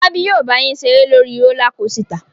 Fọlábí yóò bá yín ṣeré lórí rólá kosità.